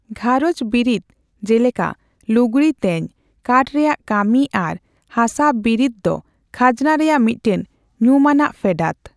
ᱜᱷᱟᱨᱚᱸᱡᱽ ᱵᱤᱨᱤᱫ, ᱡᱮᱞᱮᱠᱟ ᱞᱩᱜᱽᱲᱤ ᱛᱮᱧ, ᱠᱟᱴᱷ ᱨᱮᱭᱟᱜ ᱠᱟᱹᱢᱤ ᱟᱨ ᱦᱟᱥᱟ ᱵᱤᱨᱤᱫ ᱫᱚ ᱠᱷᱟᱡᱽᱱᱟ ᱨᱮᱭᱟᱜ ᱢᱤᱫᱴᱟᱝ ᱧᱩᱢᱟᱱᱟᱜ ᱯᱷᱮᱰᱟᱛ ᱾